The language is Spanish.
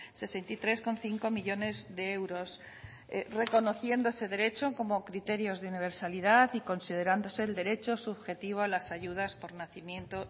sesenta y tres coma cinco millónes de euros reconociendo ese derecho como criterios de universalidad y considerándose el derecho subjetivo a las ayudas por nacimiento